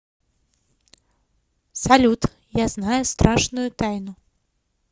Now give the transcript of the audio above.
салют я знаю страшную тайну